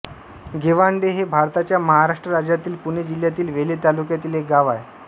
गेव्हांडे हे भारताच्या महाराष्ट्र राज्यातील पुणे जिल्ह्यातील वेल्हे तालुक्यातील एक गाव आहे